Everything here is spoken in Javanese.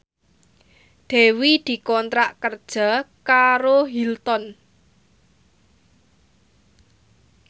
Dewi dikontrak kerja karo Hilton